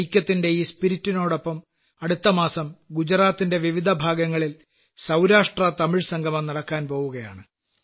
ഐക്യത്തിന്റെ ഈ സ്പിരിറ്റിനോടൊപ്പം അടുത്തമാസം ഗുജറാത്തിലെ വിവിധഭാഗങ്ങളിൽ സൌരാഷ്ട്രതമിഴ് സംഗമം നടക്കാൻ പോകുകയാണ്